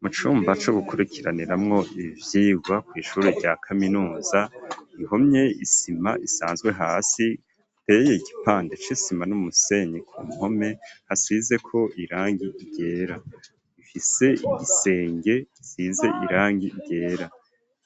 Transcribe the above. Mu cumba co gukurikiraniramwo ivyirwa kw'ishuri rya kaminuza ihomye isima isanzwe hasi iteye igipande c'isima n'umusenyi ku mpome hasizeko irangi ryera ifise igisenge gisize irangi ryera